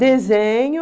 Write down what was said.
Desenho...